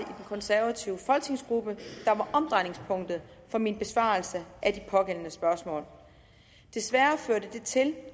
konservative folketingsgruppe der var omdrejningspunktet for min besvarelse af de pågældende spørgsmål desværre førte det til